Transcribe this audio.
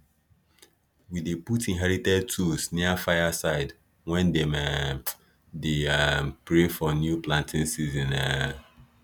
we dey put inherited tools near fire side when dem um dey um pray for new planting season um